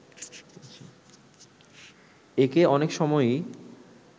একে অনেক সময়ই